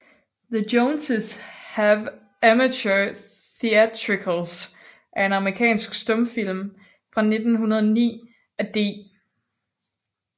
The Joneses Have Amateur Theatricals er en amerikansk stumfilm fra 1909 af D